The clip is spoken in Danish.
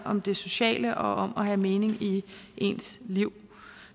om det sociale og om at have mening i ens liv